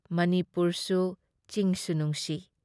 ꯃꯅꯤꯄꯨꯨꯔꯁꯨ ꯆꯤꯡꯁꯨ ꯅꯨꯡꯁꯤ ꯫